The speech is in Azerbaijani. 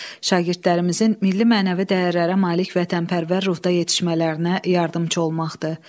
Şagirdlərimizin milli-mənəvi dəyərlərə malik vətənpərvər ruhda yetişmələrinə yardımçı olmaqdır.